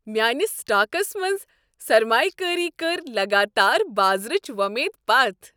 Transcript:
میانہِ سٹاکس منٛز سرمایہ کٲری کٔر لگاتار بازرٕچ وۄمید پتھ ۔